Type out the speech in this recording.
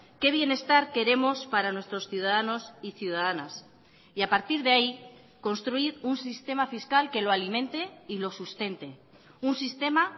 qué bienestar queremos para nuestros ciudadanos y ciudadanas y a partir de ahí construir un sistema fiscal que lo alimente y lo sustente un sistema